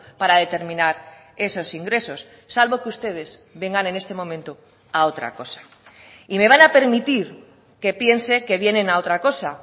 para determinar esos ingresos salvo que ustedes vengan en este momento a otra cosa y me van a permitir que piense que vienen a otra cosa